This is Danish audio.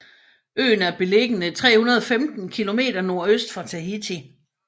Øen er beliggende 315 km nordøst for Tahiti